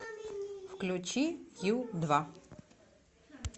включи ю два